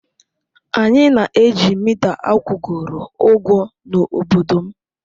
Anyị na-eji mita akwụgoro ụgwọ n'obodo m.